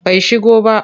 Bai shigo ba.